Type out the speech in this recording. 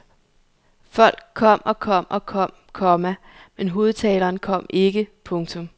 Folk kom og kom og kom, komma men hovedtaleren kom ikke. punktum